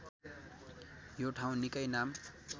यो ठाउँ निकै नाम